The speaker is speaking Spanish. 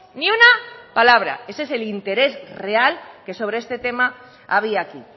ni una palabra ese es el interés real que sobre este tema había aquí